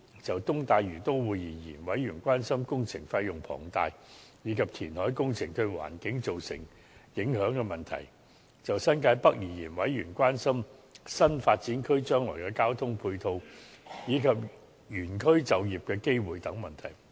就"東大嶼都會"而言，委員關心工程費用龐大，以及填海工程對環境造成影響的問題；就新界北而言，委員關心新發展區將來的交通配套，以及原區就業機會等問題。